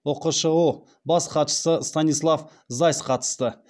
ұқшұ бас хатшысы станислав зась қатысты